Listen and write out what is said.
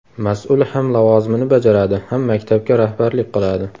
Mas’ul ham lavozimini bajaradi, ham maktabga rahbarlik qiladi.